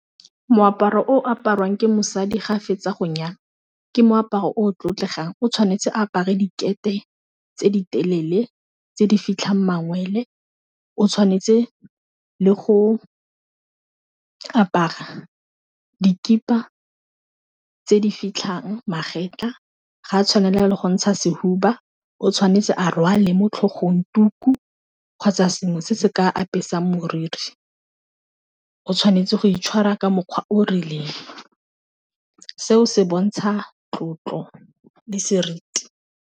Moaparo o apariwang ke mosadi ga fetsa go nyalwa ke moaparo o tlotlegang, o tshwanetse apare dikete tse di telele tse di fitlhang mangwele o tshwanetse le go ka apara dikipa tse di fitlhang magetlha ga a tshwanela le go ntsha sehuba o tshwanetse a rwale mo tlhogong dituku kgotsa sengwe se se ka apesa moriri, o tshwanetse go itshwara ka mokgwa o o rileng seo se bontsha tlotlo le seriti.